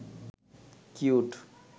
cute